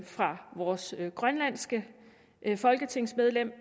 fra vores grønlandske folketingsmedlem